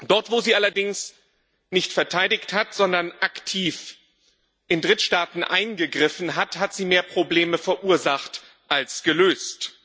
Dort, wo sie allerdings nicht verteidigt hat, sondern aktiv in Drittstaaten eingegriffen hat, hat sie mehr Probleme verursacht als gelöst.